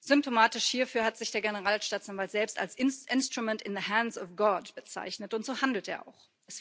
Symptomatisch hierfür hat sich der Generalstaatsanwalt selbst als instrument in the hands of God bezeichnet und so handelt er auch.